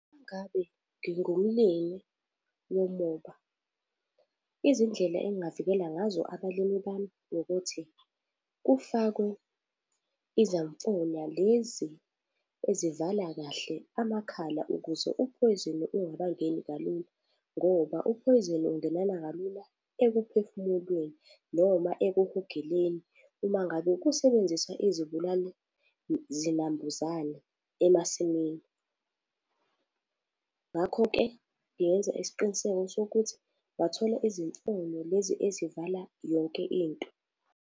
Uma ngabe ngingumlimi womoba, izindlela engingavikela ngazo abalimi bami ukuthi kufakwe izamfonyo lezi ezivala kahle amakhala ukuze uphoyizeni ungakangeni kalula ngoba uphoyizeni ungenana kalula ekuphefumuleni noma ekuhogeleni uma ngabe kusebenzisa izibulali zinambuzane emasimini. Ngakho-ke ngingenza isiqiniseko sokuthi bathola izimfonyo lezi ezivala yonke into.